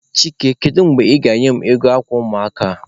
Chike, kedu mgbe ị ga-enye m ego akwa ụmụaka a?